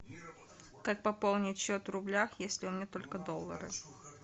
как пополнить счет в рублях если у меня только доллары